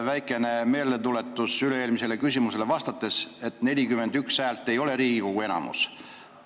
Väikene meeldetuletus, silmas pidades teie vastust üle-eelmisele küsimusele: 41 häält ei ole Riigikogu enamus.